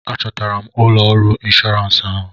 A chọtara m ụlọ ọrụ inshọrans ahụ.